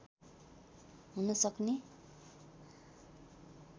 हुन सक्ने